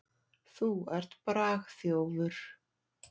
Þú ert bragþjófur.